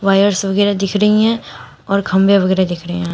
Virus वगैरा दिख रही है और खंबे वगैरा दिख रहे हैं।